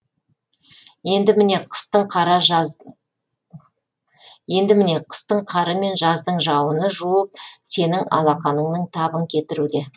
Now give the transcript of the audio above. енді міне қыстың қары мен жаздың жауыны жуып сенің алақаныңның табын кетіруде